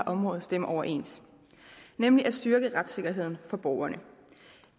område stemmer overens nemlig at styrke retssikkerheden for borgerne